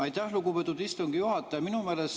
Aitäh, lugupeetud istungi juhataja!